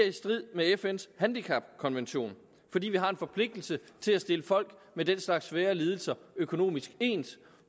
i strid med fns handicapkonvention fordi vi har en forpligtelse til at stille folk med den slags svære lidelser økonomisk ens